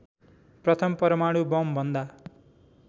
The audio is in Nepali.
प्रथम परमाणु बमभन्दा